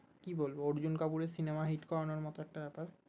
কি বলবো অর্জুন কাপুরের সিনেমা hit করানোর মতো একটা ব্যাপার